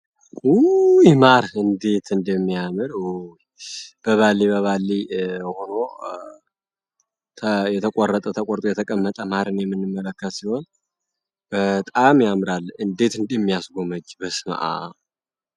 ውይ ማር እንዴት እንዲሚያምር ይ በባሊ በባሊ ሆኖ የተቆረጠ ተቆርጦ የተቀመጠ ማህርን የምንመለከት ሲሆን፤ በጣም ያምራል እንዴት እንዲሚያስጎመጅ ብስመአብ።